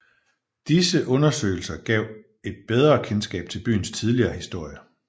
Disse undersøgelser gav et bedre kendskab til byens tidlige historie